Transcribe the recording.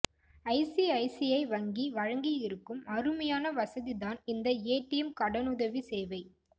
ICICI வங்கி வழங்கியிருக்கும் அருமையான வசதி தான் இந்த ஏடிஎம் கடனுதவி சேவை